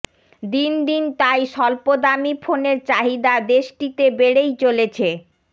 দিন দিন তাই স্বল্প দামি ফোনের চাহিদা দেশটিতে বেড়েই চলেছে